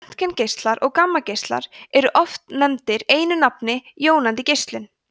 röntgengeislar og gammageislar eru oft nefndir einu nafni jónandi geislun